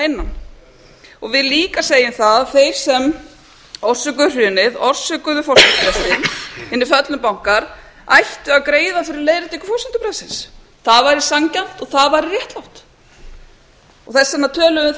innan ég vil líka segja um það að þeir sem orsökuðu hrunið orsökuðu fólks hinir föllnu bankar ættu að greiða fyrir leiðréttingu forsendubrestsins það væri sanngjarnt og það væri réttlátt þess vegna töluðum við